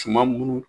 Tuma munnu